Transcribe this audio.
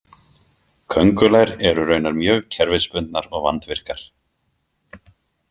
Köngulær eru raunar mjög kerfisbundnar og vandvirkar.